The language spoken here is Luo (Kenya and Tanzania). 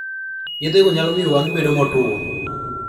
Yethego nyalo miyo wang�i bedo motuwo.